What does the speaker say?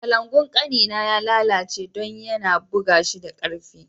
Kalangu'n kani na ya lallace dan ya na buga shi da karfi.